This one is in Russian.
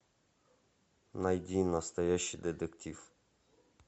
найди настоящий детектив